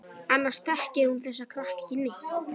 Annars þekkir hún þessa krakka ekki neitt.